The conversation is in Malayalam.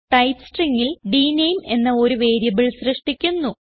ടൈപ്പ് Stringൽ ഡ്നേം എന്ന ഒരു വേരിയബിൾ സൃഷ്ടിക്കുന്നു